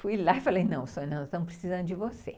Fui lá e falei, não, Sônia, nós estamos precisando de você.